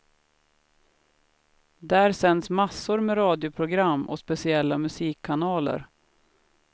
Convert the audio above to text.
Där sänds massor med radioprogram och speciella musikkanaler.